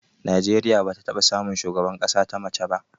Najeriya bata taɓa samun shugaban ƙasa ta mace ba